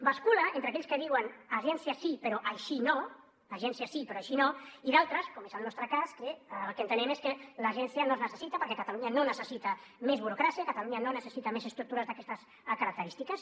bascula entre aquells que diuen agència sí però així no i d’altres com és el nostre cas que el que entenem és que l’agència no es necessita perquè catalunya no necessita més burocràcia catalunya no necessita més estructures d’aquestes característiques